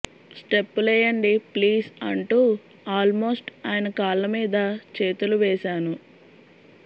స్టెప్పులేయండి please అంటూ almost ఆయన కాళ్ల మీద చేతులు వేశాను